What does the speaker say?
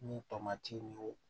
Ni tomati ni o